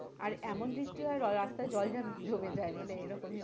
আর এমন বৃষ্টি হয় রাস্তায় জল জমে যায় মানে এরকমই অবস্থা